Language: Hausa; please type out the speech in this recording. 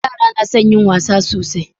yara na son yin wasa sosai